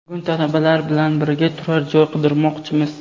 Bugun talabalar bilan birga turar joy qidirmoqchimiz.